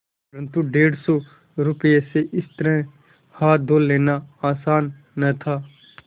परन्तु डेढ़ सौ रुपये से इस तरह हाथ धो लेना आसान न था